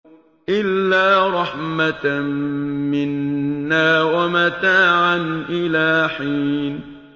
إِلَّا رَحْمَةً مِّنَّا وَمَتَاعًا إِلَىٰ حِينٍ